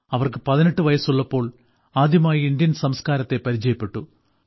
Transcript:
അവർക്ക് 18 വയസ്സുള്ളപ്പോൾ ആദ്യമായി ഇന്ത്യൻ സംസ്കാരത്തെ പരിചയപ്പെട്ടു